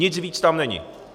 Nic víc tam není.